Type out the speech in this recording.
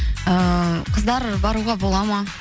ыыы қыздар баруға бола ма